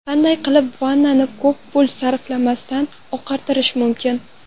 Qanday qilib vannani ko‘p pul sarflamasdan oqartirish mumkin?.